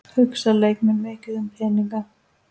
Hugsa leikmenn mikið um peninga?